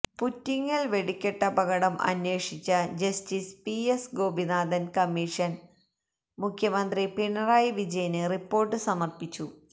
പുറ്റിങ്ങൽ വെടിക്കെട്ടപകടം അന്വേഷിച്ച justice P S Gopinathan commission മുഖ്യമന്ത്രി പിണറായി വിജയന് റിപ്പോർട്ട് സമർപ്പിച്ചു